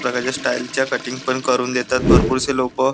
प्रकारच्या स्टाईल च्या कटिंग पण करून देतात भरपूर से लोक--